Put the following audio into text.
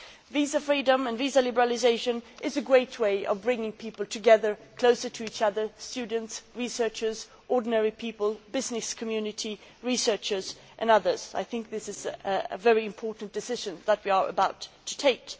Visa freedom and visa liberalisation is a great way of bringing people together, closer to each other students, researchers, ordinary people, the business community, researchers and others. This is a very important decision that we are about to take.